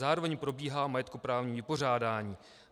Zároveň probíhá majetkoprávní vypořádání.